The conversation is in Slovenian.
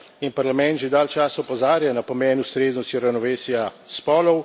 In Parlament že dalj časa opozarja na pomen ustreznosti ravnovesja spolov.